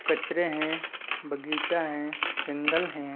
कचरे है बगीचा है जंगल हैं।